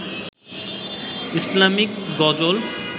ইসলামীক গজল